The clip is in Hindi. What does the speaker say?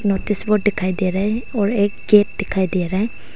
नोटिस बोर्ड दिखाई दे रहा है और एक गेट दिखाई दे रहा है।